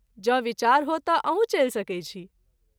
जँ विचार हो तँ अहूँ चलि सकै छी।